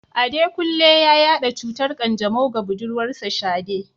Adekunle ya yada cutar kanjamau ga budurwarsa Shade.